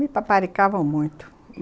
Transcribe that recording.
Me paparicavam muito.